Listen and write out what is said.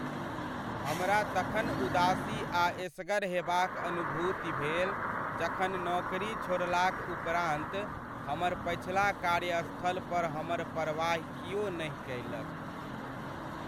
हमरा तखन उदासी आ एसगर हेबाक अनुभूति भेल जखन नौकरी छोड़लाक उपरान्त हमर पछिला कार्यस्थल पर हमर परवाहि किओ नहि कैलक।